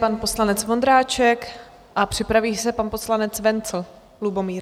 pan poslanec Vondráček a připraví se pan poslanec Wenzl Lubomír.